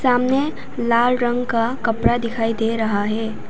सामने लाल रंग का कपड़ा दिखाई दे रहा है।